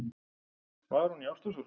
Var hún í ástarsorg?